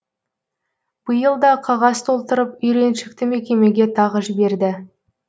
биыл да қағаз толтырып үйреншікті мекемеге тағы жіберді